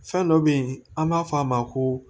Fɛn dɔ be yen an b'a fɔ a ma ko